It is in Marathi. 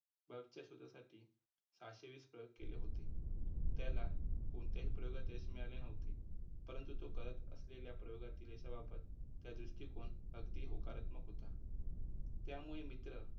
Bulb च्या शोधासाठी सहाशे वीस प्रयोग केले होते. त्याला कोणत्याही प्रयोगात यश मिळाले नव्हते परंतु तो करत असलेल्या प्रयोगातील यशाबाबत त्या दृष्टिकोन अगदी होकारात्मक होता. त्यामुळे मित्र